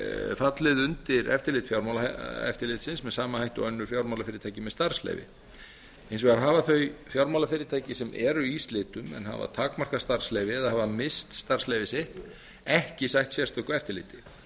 fallið undir eftirlit fjármálaeftirlitsins með sama hætti og önnur fjármálafyrirtæki með starfsleyfi hins vegar hafa þau fjármálafyrirtæki sem eru í slitum en hafa takmarkað starfsleyfi eða hafa misst starfsleyfi sitt ekki sætt sérstöku eftirliti